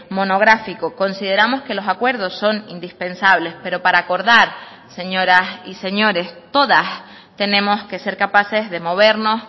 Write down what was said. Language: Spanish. monográfico consideramos que los acuerdos son indispensables pero para acordar señoras y señores todas tenemos que ser capaces de movernos